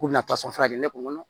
K'u bɛna fura de ne kun